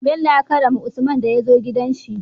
bello ya karrama usman daya zo gidan shi